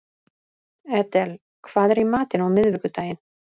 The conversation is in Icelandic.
Edel, hvað er í matinn á miðvikudaginn?